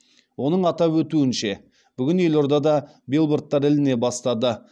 оның атап өтуінше бүгін елордада билбордтар іліне бастады